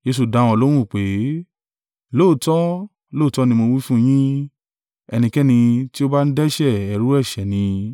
Jesu dá wọn lóhùn pé, “Lóòótọ́, lóòótọ́ ni mo wí fún yín, ẹnikẹ́ni tí ó bá ń dẹ́ṣẹ̀, ẹrú ẹ̀ṣẹ̀ ni.